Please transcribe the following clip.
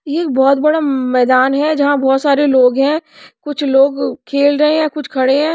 ये एक बहोत बड़ा मैदान है जहां बहोत सारे लोग हैं कुछ लोग खेल रहे हैं कुछ खड़े हैं।